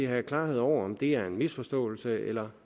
have klarhed over om det er en misforståelse eller